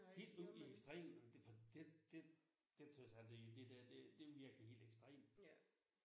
Helt ude i ekstremerne det for det det det tror jeg sandelig det der det det virker helt ekstremt